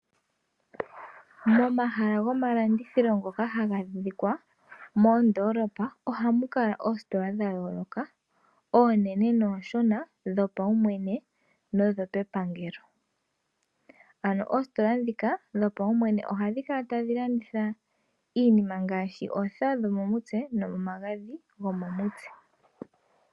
Momahala gomalandithilo ngoka haga adhika moondoolopa ohamu kala oositola dha yooloka, oonene noonshona, dhopaumwene nodhepangelo. Ano oositola ndhika dhopaumwene ohadhi kala tadhi landitha iinima ngaashi oothewa dhomomutse nomagadhi gomomutse.